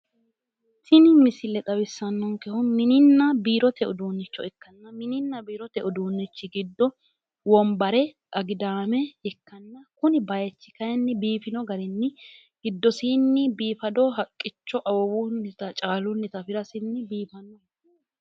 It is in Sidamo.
Tini misile xawisannonkehu mininna biirote uduunnicho ikkanno. Mininna biirote uduunnichi giddo wombare, agidaame ikkanno. Kuni bayichi kayinni biifino garinni giddosiinni biiifado haqqicho awawunnita caalunnita afirasinni biifadoho.